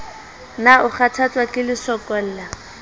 na o kgathatswa ke lesokolla